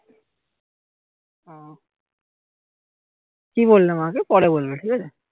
কি বললে মা কে পরে বলবে ঠিক আছে